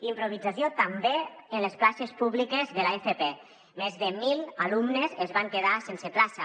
improvisació també en les places públiques de l’fp més de mil alumnes es van quedar sense plaça